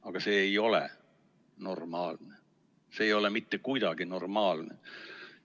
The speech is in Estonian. Aga see ei ole normaalne, see ei ole mitte kuidagi normaalne.